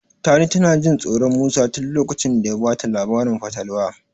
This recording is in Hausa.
Tani tana Jin tsoron Musa tin lokacin da ya bata labarin fatalwa.